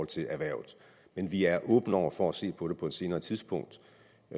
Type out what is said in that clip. til erhvervet men vi er åbne over for at se på det på et senere tidspunkt